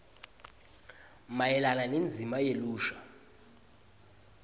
mayelana nendzima yelusha